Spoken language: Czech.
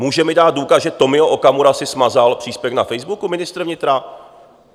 Může mi dát důkaz, že Tomio Okamura si smazal příspěvek na Facebooku ministr vnitra?